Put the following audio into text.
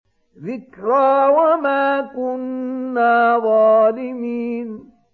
ذِكْرَىٰ وَمَا كُنَّا ظَالِمِينَ